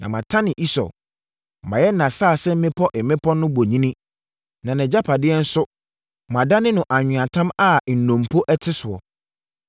na matane Esau, mayɛ nʼasase mmepɔ mmepɔ no bonini, na nʼagyapadeɛ nso madane no anweatam a nnompo te soɔ.”